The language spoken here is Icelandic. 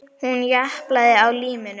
Hún japlaði á líminu.